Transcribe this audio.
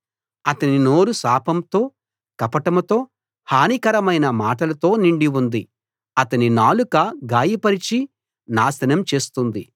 అతని నోరు శాపంతో కపటంతో హానికరమైన మాటలతో నిండి ఉంది అతని నాలుక గాయపరిచి నాశనం చేస్తుంది